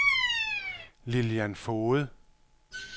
Lillian Foged